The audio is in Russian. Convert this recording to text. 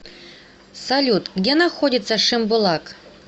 салют где находится шимбулак